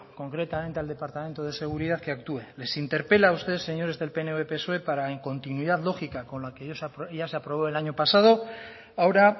concretamente al departamento de seguridad que actúe les interpela a ustedes señores del pnv y psoe para la incontinuidad lógica con la que ya se aprobó el año pasado ahora